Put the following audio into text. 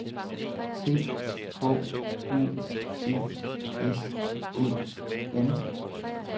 T H U E S E N